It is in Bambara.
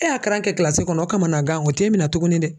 E y'a k'a kɛ kɔnɔ o kamagan o t'e minɛ tuguni dɛ.